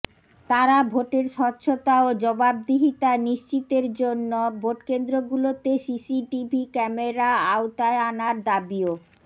তারা ভোটের স্বচ্ছতা ও জবাবদিহিতা নিশ্চিতের জন্য ভোটকেন্দ্রগুলোতে সিসিটিভি ক্যামেরার আওতায় আনার দাবিও